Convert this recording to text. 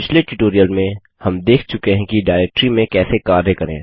पिछले ट्यूटोरियल में हम देख चुके हैं कि डाइरेक्टरी में कैसे कार्य करें